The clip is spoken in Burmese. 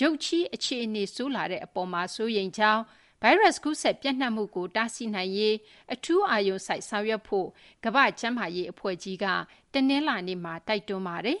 ရုတ်ချည်း အခြေအနေဆိုးလာတဲ့ အပေါ် စိုးရိမ်ကြောင်း၊ ဗိုင်းရပ်စ် ကူးစက် ပျံ့နှံ့မှုကို တားဆီးနိုင်ရေး အထူး အာရုံစိုက် ဆောင်ရွက်ဖို့ ကမ္ဘာ့ကျန်းမာရေး အဖွဲ့ကြီး WHO က တနလာၤနေ့မှာ တိုက်တွန်းထားပါတယ်။